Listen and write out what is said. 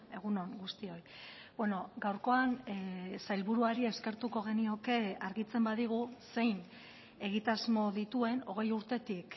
egun on guztioi gaurkoan sailburuari eskertuko genioke argitzen badigu zein egitasmo dituen hogei urtetik